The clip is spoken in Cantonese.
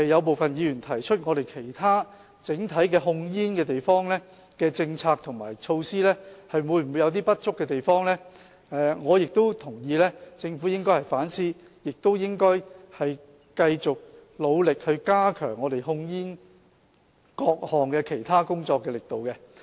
部分議員提出其他整體控煙政策和措施會否有不足的地方，我亦認同政府應該反思，也應繼續努力加強各項其他控煙工作的力度。